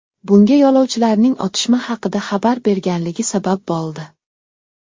Bunga yo‘lovchilarning otishma haqida xabar berganligi sabab bo‘ldi.